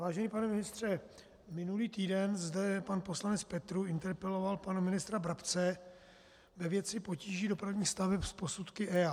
Vážený pane ministře, minulý týden zde pan poslanec Petrů interpeloval pana ministra Brabce ve věci potíží dopravních staveb s posudky EIA.